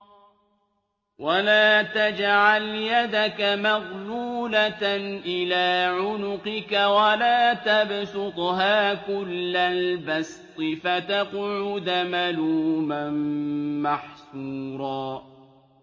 وَلَا تَجْعَلْ يَدَكَ مَغْلُولَةً إِلَىٰ عُنُقِكَ وَلَا تَبْسُطْهَا كُلَّ الْبَسْطِ فَتَقْعُدَ مَلُومًا مَّحْسُورًا